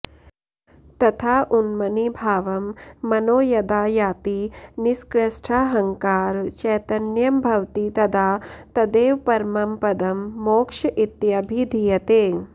तथा उन्मनीभावं मनो यदा याति निष्कृष्टाहङ्कार चैतन्यं भवति तदा तदेव परमं पदं मोक्ष इत्यभिधीयते